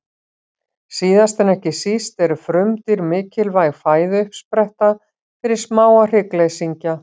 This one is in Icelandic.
Síðast en ekki síst eru frumdýr mikilvæg fæðuuppspretta fyrir smáa hryggleysingja.